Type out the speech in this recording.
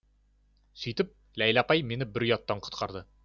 сөйтіп ләйлә апай мені бір ұяттан құтқарды